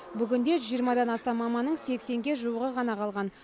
бүгінде жүз жиырмадан астам маманның сексенге жуығы ғана қалған